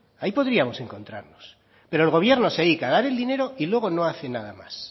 ahí podríamos encontrarnos pero el gobierno se dedica a dar el dinero y luego no hace nada más